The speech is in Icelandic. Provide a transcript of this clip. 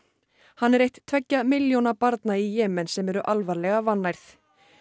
hann er eitt tveggja milljóna barna í Jemen sem eru alvarlega vannærð